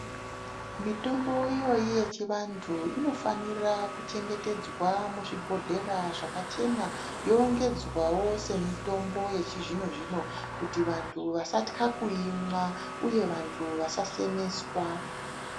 Mitombo iyoyi yechivantu inofanira kuchengetedzwa muzvibhodhlera zvachachena yorongedzwawo semitombo yechizvino-zvino kuti vantu vasatya kuimwa uye vantu vasasemeswa.